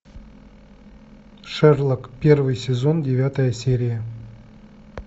шерлок первый сезон девятая серия